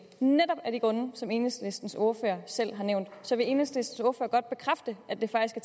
netop af de grunde som enhedslistens ordfører selv har nævnt så vil enhedslistens ordfører godt bekræfte at det faktisk